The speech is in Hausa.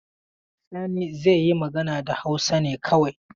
Sani zai yi magana da Hausa ne kawai.